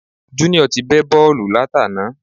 Junior ti bẹ́ bọ́ọ̀lù látàná